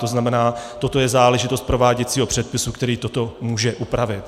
To znamená, toto je záležitost prováděcího předpisu, který toto může upravit.